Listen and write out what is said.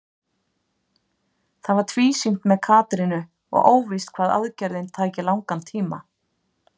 Það var tvísýnt með Katrínu og óvíst hvað aðgerðin tæki langan tíma.